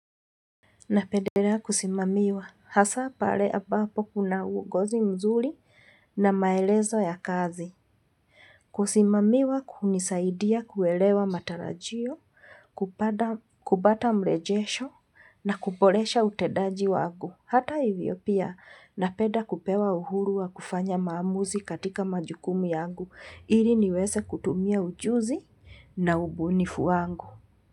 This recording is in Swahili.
Na pendelea kusimamiwa, hasa pale ambapo kuna uongozi mzuri na maelezo ya kazi. Kusimamiwa hunisaidia kuwelewa matarajio, kubata mrejesho na kupolesha utendaji wangu. Hata hivyo pia, na peda kupewa uhuru wa kufanya maamuzi katika majukumu yangu. Ili niweze kutumia ujuzi na ubunifu wangu.